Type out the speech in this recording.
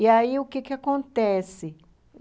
E aí, o que que acontece?